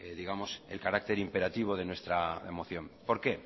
digamos el carácter imperativo de nuestra moción por qué